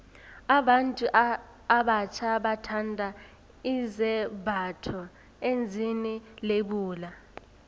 abantu abatjha bathanda izembatho ezine lebula